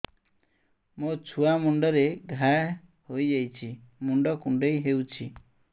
ମୋ ଛୁଆ ମୁଣ୍ଡରେ ଘାଆ ହୋଇଯାଇଛି ମୁଣ୍ଡ କୁଣ୍ଡେଇ ହେଉଛି